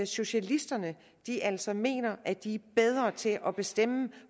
socialisterne altså mener at de er bedre til at bestemme